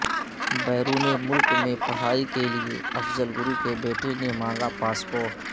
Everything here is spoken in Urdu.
بیرون ملک میں پڑھائی کے لیے افضل گرو کے بیٹے نے مانگا پاسپورٹ